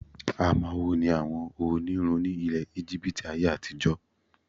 Amawo ni àwọn onírun ni ilẹ̀ Íjíbítì ayé-àtijọ.